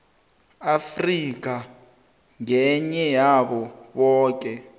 afrika ngeyabo boke